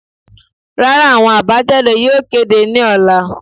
Rara, awọn abajade yóò kede ni ọla